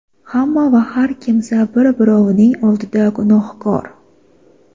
Hamma va har kimsa bir-birovining oldida gunohkor.